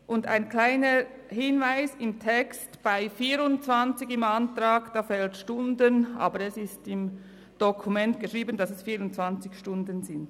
Und ein kleiner Hinweis: Im Text bei «24» im Antrag, fehlt Stunden, aber im Dokument steht, dass es 24 Stunden sind.